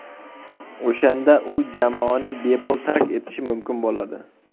O‘shanda u jamoani bepul tark etishi mumkin bo‘ladi.